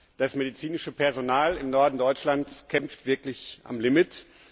Das medizinische Personal im Norden Deutschlands kämpft wirklich am Limit.